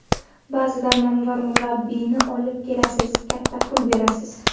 Ba’zida nomdor murabbiyni olib kelasiz, katta pul berasiz.